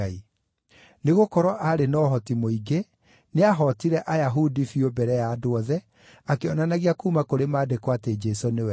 Nĩgũkorwo arĩ na ũhoti mũingĩ, nĩahootire Ayahudi biũ mbere ya andũ othe, akĩonanagia kuuma kũrĩ Maandĩko atĩ Jesũ nĩwe Kristũ.